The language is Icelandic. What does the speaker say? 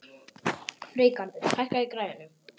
Freygarður, hækkaðu í græjunum.